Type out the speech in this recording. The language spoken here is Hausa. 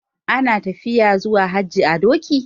Ana tafiya zuwa haji a doki.